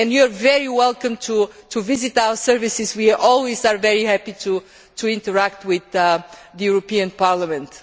You are very welcome to visit our services we are always very happy to interact with the European Parliament.